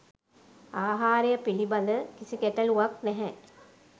ආහාරය පිළිබඳ කිසි ගැටළුවක් නැහැ.